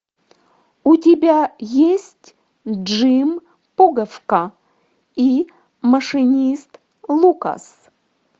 у тебя есть джим пуговка и машинист лукас